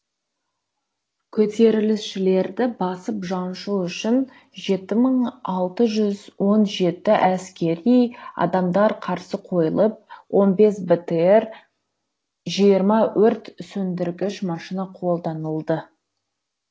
көтерілісшілерді басып жаншу үшін жеті мың алты жүз он жеті әскери адамдар қарсы қойылып он бес бтр жиырма өрт сөндіргіш машина қолданылды